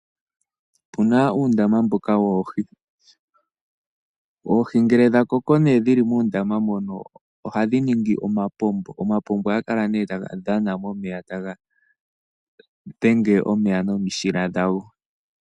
Opuna uundama mboka woohi, oohi ngele dhakoko nee dhili muundama mono ohadhi ningi omapompo, omapompo ohaga kala nee taga dhana momeya, taga dhana omeya nomishila dhago.